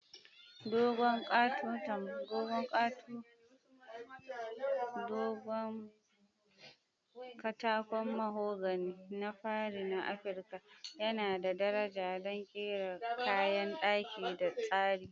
Dogon katakon mahogany na fari na Afirka yana da daraja don kera kayan daki da tsarin.